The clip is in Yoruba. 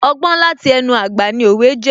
Ọgbọ́n láti ẹnu àgbà ni òwe jẹ́